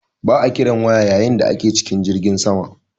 Ba'a kiran waya yayin da ake cikin jirgin sama.